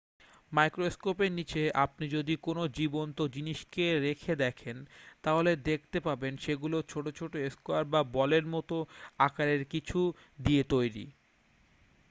মাইক্রোস্কোপের নীচে আপনি যদি কোন জীবন্ত জিনিসকে রেখে দেখেন তাহলে দেখতে পাবেন সেগুলো ছোট ছোট স্কোয়ার বা বলের মতো আকারের কিছু দিয়ে তৈরি